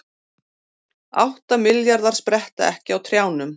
Átta milljarðar spretta ekki á trjánum